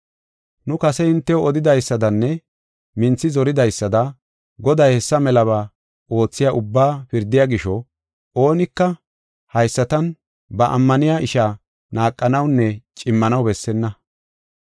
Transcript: Nu kase hintew odidaysadanne minthi zoridaysada Goday hessa melaba oothiya ubbaa pirdiya gisho, oonika haysatan ba ammaniya ishaa naaqanawunne cimmanaw bessenna.